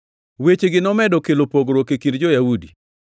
Wechegi nomedo kelo pogruok e kind jo-Yahudi.